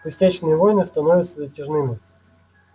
пустячные войны становятся затяжными